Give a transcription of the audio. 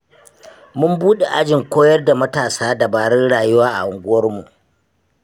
Mun buɗe ajin koyar da matasa dabarun rayuwa a unguwarmu.